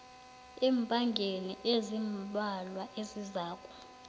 eenyangeni ezimbalwa ezizako